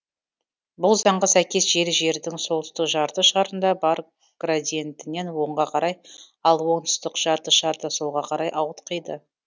бұл заңға сәйкес жел жердің солтүстік жарты шарында бар градиентінен оңға карай ал оңтүстік жарты шарда солға қарай ауытқиды